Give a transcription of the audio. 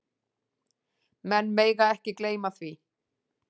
Menn mega ekki gleyma því.